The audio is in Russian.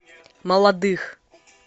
молодых